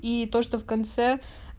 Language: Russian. и то что в конце